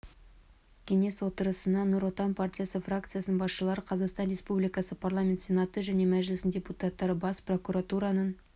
кеңес отырысына нұр отан партиясы фракциясының басшылары қазақстан республикасы парламенті сенаты мен мәжілісінің депутаттары бас прокуратураның